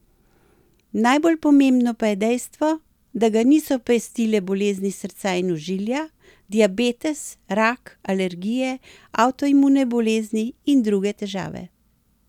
Najbolj pomembno pa je dejstvo, da ga niso pestile bolezni srca in ožilja, diabetes, rak, alergije, avtoimune bolezni in druge težave.